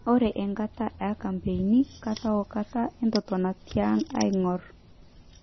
Ore enkata e kampein, kata wo kata etotona tiang aingor.